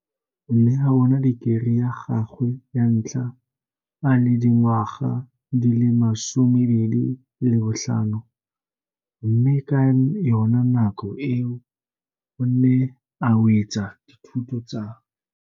O ne a bona dikerii ya gagwe ya ntlha a le dingwa ga di le 25, mme ka yona nako eo o ne a wetsa dithuto tsa.